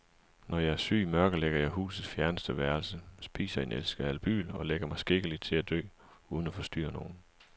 Når jeg er syg, mørklægger jeg husets fjerneste værelse, spiser en æske albyl og lægger mig skikkeligt til at dø uden at forstyrre nogen.